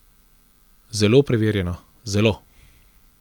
Zelo preverjeno, zelo ...